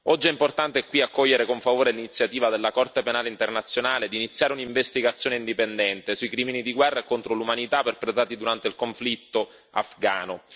Oggi è importante qui accogliere con favore l'iniziativa della Corte penale internazionale di iniziare un'investigazione indipendente sui crimini di guerra e contro l'umanità perpetrati durante il conflitto afghano.